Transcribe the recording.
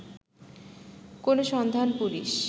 কোন সন্ধান পুলিশ